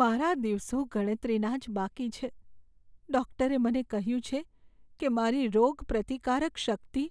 મારા દિવસો ગણતરીના જ બાકી છે. ડૉક્ટરે મને કહ્યું છે કે મારી રોગપ્રતિકારક શક્તિ